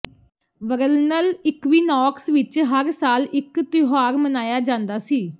ਵਰਲਨਲ equinox ਵਿਚ ਹਰ ਸਾਲ ਇਕ ਤਿਉਹਾਰ ਮਨਾਇਆ ਜਾਂਦਾ ਸੀ